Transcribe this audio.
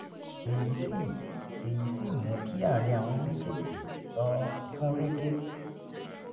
èyí sì èyí sì mú kí àárín àwọn méjèèjì um gún régé